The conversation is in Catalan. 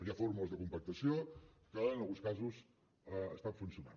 hi ha fórmules de compactació que en alguns casos estan funcionant